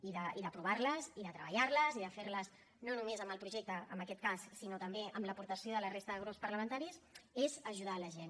i d’aprovar les i de treballar les i de fer les no només amb el projecte en aquest cas sinó també amb l’aportació de la resta de grups parlamentaris és ajudar la gent